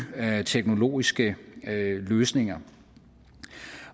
teknologiske løsninger